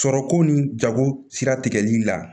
Sɔrɔko ni jago sira tigɛli la